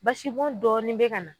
Basi bɔn dɔɔni be ka na.